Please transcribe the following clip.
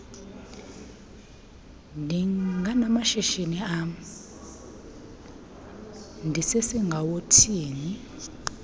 ndinamashishini am ndisesingawothiyo